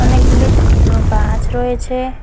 অনেকগুলি ছোট বড় গাছ রয়েছে।